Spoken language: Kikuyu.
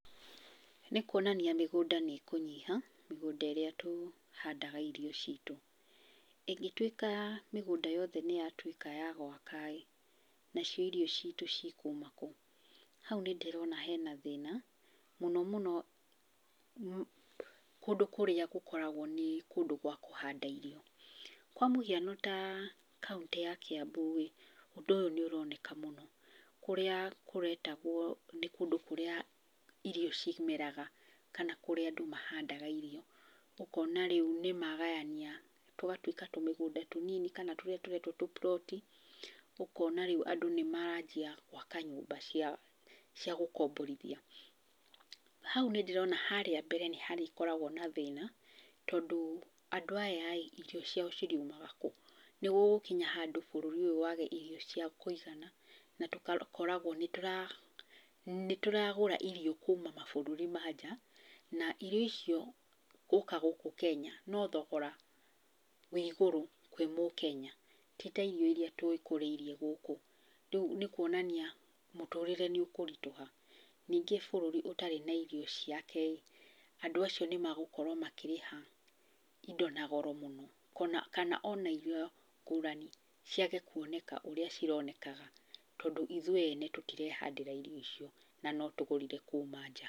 Nĩ kuonania mĩgũnda nĩ ĩkũnyiha, mĩgũnda ĩrĩa tũhandaga irio citũ. ĩngĩtuĩka mĩgũnda yothe nĩ yatuĩka ya gwaka ĩĩ, nacio irio citũ cikuuma kũ? Hau nĩ ndĩrona hena thĩna, mũno mũno kũndũ kũrĩa gũkoragwo nĩ kũndũ gwa kũhanda irio. Kwa mũhiano ta kaũntĩ ya Kiambu rĩ, ũndũ ũyũ nĩ ũroneka mũno. Kũrĩa kũretagwo nĩ kũndũ kũrĩa irio cimeraga, kana nĩ kũndũ kũrĩa andũ mahandaga irio. Ũkona rĩu nĩ magayania, tũgatuĩka tũmĩgũnda tũnini kana tũrĩa tũretwo tũ plot i, ũkona rĩu andũ nĩ maranjia gwaka nyũmba cia gũkomborithia. Hau nĩ ndĩrona harĩa mbere nĩ harĩkoragwo na thĩna, tondũ andũ aya rĩ, irio ciao iriumaga kũ? Nĩ gũgũkinya handũ bũrũri ũyũ wage irio cia kũigana na tũgakoragwo nĩ tũragũra irio kuma mabũrũri ma nja. Na irio icio gũka gũkũ Kenya no thogora wĩ igũrũ kwĩ mũkenya, ti ta irio iria twĩkũrĩirie gũkũ. Rĩu nĩ kuonania mũtũũrire nĩ ũkũritũha. Ningĩ bũrũri ũtarĩ na irio ciake ĩ, andũ acio nĩ magũkorwo makĩrĩha indo na goro mũno. Kana ona irio ngũrani ciage kuoneka ũrĩa cironekaga, tondũ ithuĩ ene tũtirehandĩra irio icio, na no tũgũrire kuma nja.